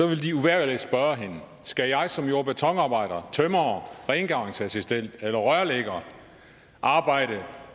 vil de uvægerlig spørge hende skal jeg som jord og betonarbejder tømrer rengøringsassistent eller rørlægger arbejde